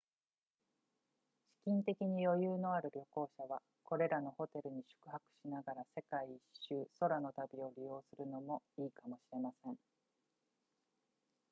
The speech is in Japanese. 資金的に余裕のある旅行者はこれらのホテルに宿泊しながら世界一周空の旅を利用するのもいいかもしれません